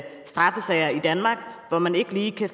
straffesager i danmark hvor man ikke lige kan